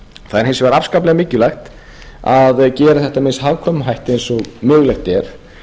það er hins vegar afskaplega mikilvægt að gera þetta með eins hagkvæmum hætti eins og mögulegt er